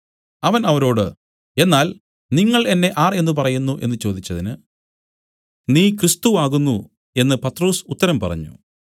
അവൻ അവരോട് എന്നാൽ നിങ്ങൾ എന്നെ ആർ എന്നു പറയുന്നു എന്നു ചോദിച്ചതിന് നീ ക്രിസ്തു ആകുന്നു എന്നു പത്രൊസ് ഉത്തരം പറഞ്ഞു